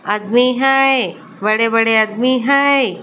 आदमी हैए बड़े-बड़े आदमी हैए ।